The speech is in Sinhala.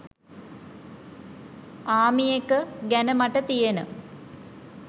'ආමිඑක' ගැන මට තියෙන